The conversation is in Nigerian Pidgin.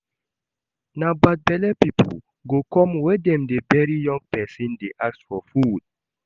Na bad belle people go come where dem dey bury young person dey ask for food